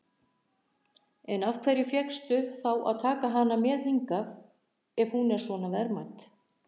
En af hverju fékkstu þá að taka hana með hingað, ef hún er svona verðmæt?